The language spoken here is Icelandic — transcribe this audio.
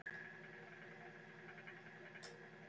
Kristján Már: Ertu sáttur við þetta?